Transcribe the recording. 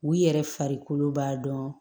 U yɛrɛ farikolo b'a dɔn